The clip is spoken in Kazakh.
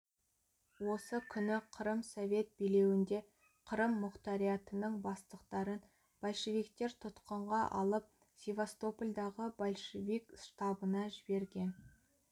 осы күні қырым совет билеуінде қырым мұқтариатының бастықтарын большевиктер тұтқынға алып севастопольдағы большевик штабына жіберген